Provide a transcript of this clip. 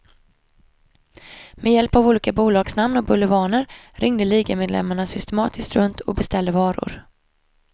Med hjälp av olika bolagsnamn och bulvaner ringde ligamedlemmarna systematiskt runt och beställde varor.